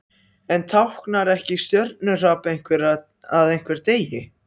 En táknar ekki stjörnuhrap að einhver deyi?